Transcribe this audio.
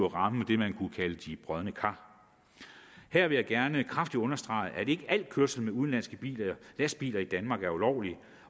ramme det man kunne kalde de brodne kar her vil jeg gerne kraftigt understrege at ikke al kørsel med udenlandske lastbiler i danmark er ulovlig